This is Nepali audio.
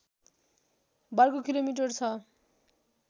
वर्ग किलोमिटर छ